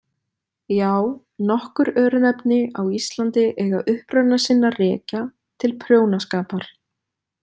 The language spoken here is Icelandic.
Já, nokkur örnefni á Íslandi eiga uppruna sinn að rekja til prjónaskapar.